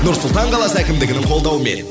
нұр сұлтан қаласы әкімдігінің қолдауымен